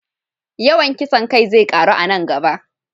Yawan kisan kai zai ƙaru a nan gaba.